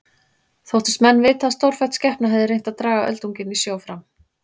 Þóttust menn vita að stórfætt skepna hefði reynt að draga öldunginn í sjó fram.